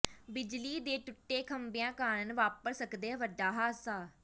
ਬਿਜਲੀ ਦੇ ਟੁੱਟੇ ਖੰਭਿਆਂ ਕਾਰਨ ਵਾਪਰ ਸਕਦੈ ਵੱਡਾ ਹਾਦਸਾ